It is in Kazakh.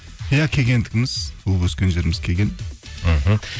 иә кегендігіміз туып өскен жеріміз кеген мхм